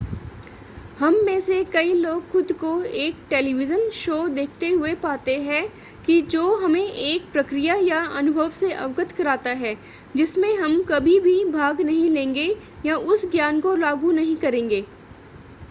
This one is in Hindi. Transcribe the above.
हम में से कई लोग खुद को एक टेलीविज़न शो देखते हुए पाते हैं कि जो हमें एक प्रक्रिया या अनुभव से अवगत कराता है जिसमें हम कभी भी भाग नहीं लेंगे या उस ज्ञान को लागू नहीं करेंगे